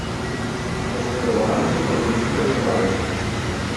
Posredovali so tolminski reševalci.